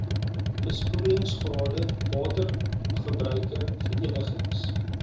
besproeiingsrade watergebruiker verenigings